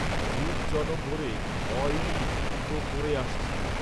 যুগ জনম ভরে অইই তো করে আসছে